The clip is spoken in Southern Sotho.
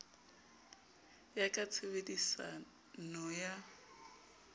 ya ka tshebedisa no ya